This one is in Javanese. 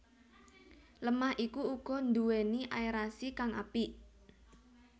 Lemah iku uga nduwéni aerasi kang apik